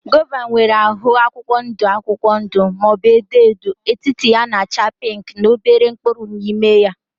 Gova nwere ahụ akwụkwọ ndụ akwụkwọ ndụ maọbu edo edo, etiti ya na -acha pinki na obere mkpụrụ n' ime ya.